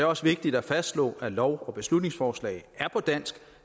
også vigtigt at fastslå at lov og beslutningsforslag er på dansk